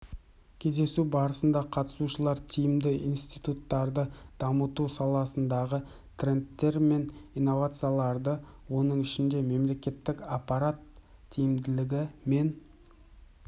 кездесу барысында қатысушылар тиімді институттарды дамыту саласындағы трендтер мен инновацияларды оның ішінде мемлекеттік аппарат тиімділігі мен